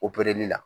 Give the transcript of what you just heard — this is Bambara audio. la